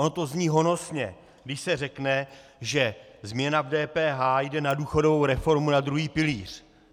Ono to zní honosně, když se řekne, že změna v DPH jde na důchodovou reformu na druhý pilíř.